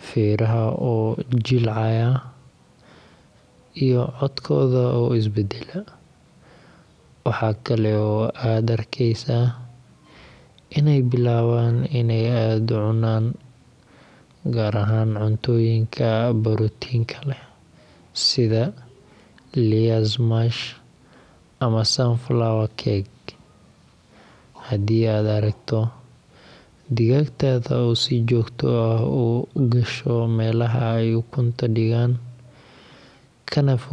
feeraha oo jilcaya, iyo codkooda oo is beddela. Waxaa kale oo aad arkaysaa inay bilaabaan inay aad u cunaan, gaar ahaan cuntooyinka borotiinka leh, sida layers mash ama sunflower cake. Haddii aad aragto digaagtaada oo si joogto ah u gasho meelaha ay ukunta dhigaan, kana fogaata dadka